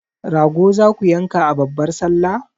Rago zaku yanka a babbar sallah?